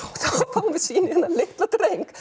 fáum við sýn á þennan litla dreng